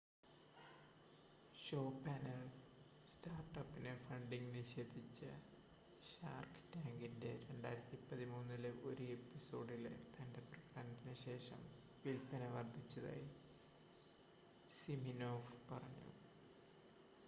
show panel സ്റ്റാർട്ട് അപ്പിന് funding നിഷേധിച്ച ഷാർക്ക് ടാങ്കിൻ്റെ 2013-ലെ ഒരു എപ്പിസോഡിലെ തൻ്റെ പ്രകടനത്തിന് ശേഷം വിൽപ്പന വർധിച്ചതായി സിമിനോഫ് പറഞ്ഞു